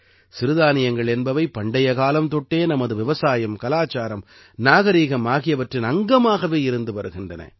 சிறுதானியங்கள் என்பவை பண்டைய காலம் தொட்டே நமது விவசாயம் கலாச்சாரம் நாகரிகம் ஆகியவற்றின் அங்கமாக இருந்து வருகின்றன